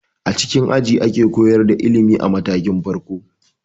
A cikin aji ake koyar da ilimi a matakin farko.